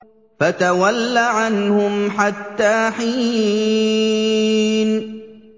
فَتَوَلَّ عَنْهُمْ حَتَّىٰ حِينٍ